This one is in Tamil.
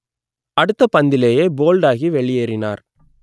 அடுத்த பந்திலேயே போல்ட் ஆகி வெளியேறினார்